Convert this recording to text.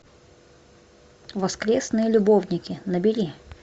воскресные любовники набери